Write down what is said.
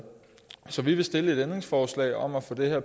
så vi vil stille et ændringsforslag om at få det her